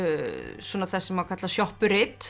svona það sem að kallast